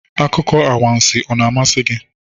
Akụkọ anwansi ọ na-amasị gị?